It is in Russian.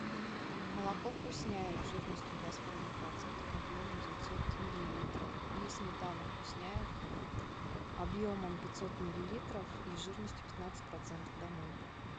молоко вкусняев жирностью два с половиной процента объемом девятьсот миллилитров и сметану вкусняев объемом пятьсот миллилитров и жирностью пятнадцать процентов домой